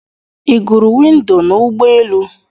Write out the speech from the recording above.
Ị gụrụ windo n'ụgbọelu?